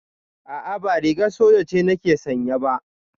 A'a ba rigar soja ce nake sanye ba